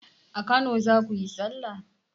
A kano zakuyi sallah?